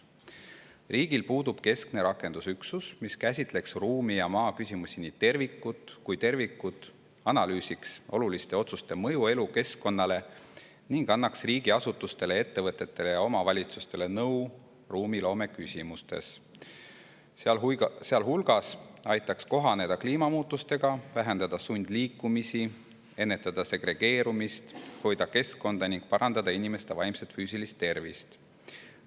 Riigil puudub keskne rakendusüksus, mis käsitleks ruumi- ja maaküsimusi kui tervikut, analüüsiks oluliste otsuste mõju elukeskkonnale ning annaks riigiasutustele, ettevõtetele ja omavalitsustele nõu ruumiloome küsimustes, sealhulgas aitaks kohaneda kliimamuutustega, vähendada sundliikumisi, ennetada segregeerumist, hoida keskkonda ning parandada inimeste vaimset ja füüsilist tervist.